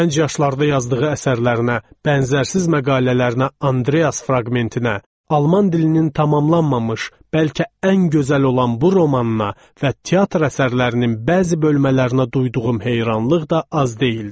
Gənc yaşlarda yazdığı əsərlərinə, bənzərsiz məqalələrinə, Andreas fraqmentinə, alman dilinin tamamlanmamış, bəlkə ən gözəl olan bu romanına və teatr əsərlərinin bəzi bölmələrinə duyduğum heyranlıq da az deyildi.